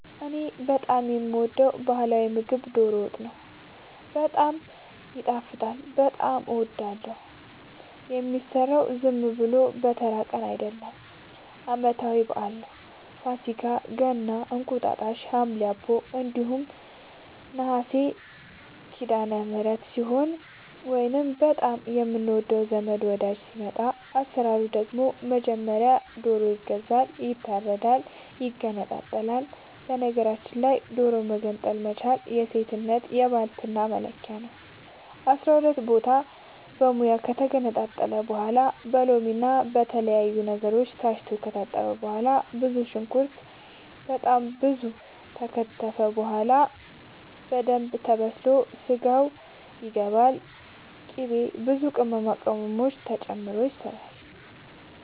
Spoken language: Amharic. እኔ በጣም የምወደው በህላዊ ምግብ ዶሮ ወጥ ነው። በጣም ይጣፍጣል በጣም አወዳለሁ። የሚሰራውም ዝም ብሎ በተራ ቀን አይደለም ለአመታዊ በአል ነው። ፋሲካ ገና እንቁጣጣሽ ሀምሌ አቦ እንዲሁም ነሀሴ ሲዳለምህረት ሲሆን ወይንም በጣም የምንወደው ዘመድ ወዳጅ ሲመጣ። አሰራሩ ደግሞ በመጀመሪያ ዶሮ ይገዛል ይታረዳል ይገነጣጠላል በነገራችል ላይ ዶሮ መገንጠል መቻል የሴትነት የባልትና መለኪያ ነው። አስራሁለት ቦታ በሙያ ከተገነጣጠለ በኋላ በሎምና በተለያዩ ነገሮች ታስቶ ከታጠበ በኋላ ብዙ ሽንኩርት በጣም ብዙ ከተከተፈ በኋላ በደንብ ተበስሎ ስጋው ይገባል ቅቤ ብዙ ቅመማ ቅመም ተጨምሮ ይሰራል